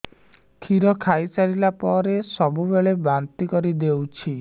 କ୍ଷୀର ଖାଇସାରିଲା ପରେ ସବୁବେଳେ ବାନ୍ତି କରିଦେଉଛି